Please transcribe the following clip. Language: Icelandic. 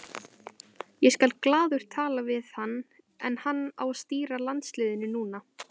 Ég skal glaður tala við hann en hann á að stýra landsliðinu núna.